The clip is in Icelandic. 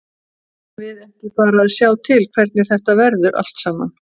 Eigum við ekki bara að sjá til hvernig þetta verður allt saman.